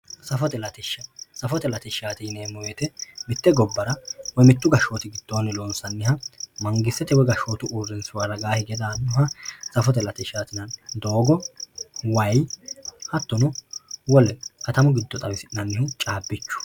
safote latishsha safote latishshaati yineemmo woyte mitte gobbara woy mittu gashshootira loonsanniha mangistete woy gashshootu uurinshuwa ragaa hige daannoha safote latishshati yineemmo dogo way hattono wole katamu giddo xawisi'nannihu caabbichu